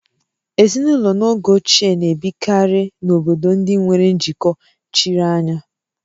Ezinụlọ n'oge ochie na-ebikarị n'obodo ndị nwere njikọ chiri anya